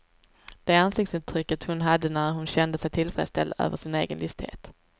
Det ansiktsuttrycket hon hade när hon kände sig tillfredsställd över sin egen listighet.